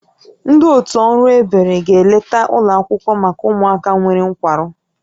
Ndị otu ọrụ ebere ga-eleta ụlọ akwụkwọ maka ụmụaka nwere nkwarụ